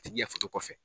A tigi ya foto kɔfɛ